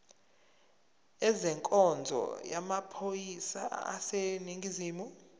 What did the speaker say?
ezenkonzo yamaphoyisa aseningizimu